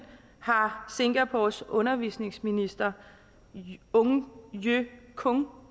har singapores undervisningsminister ong ye kung